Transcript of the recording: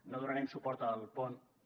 no donarem suport al punt un